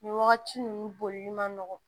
Nin wagati ninnu bolili man nɔgɔn